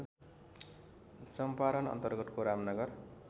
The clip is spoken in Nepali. चम्पारन अन्तर्गतको रामनगर